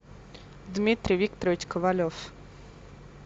дмитрий викторович ковалев